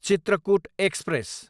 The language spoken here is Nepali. चित्रकूट एक्सप्रेस